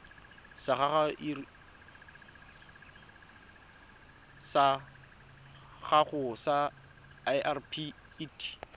sa gago sa irp it